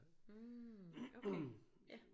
mh okay ja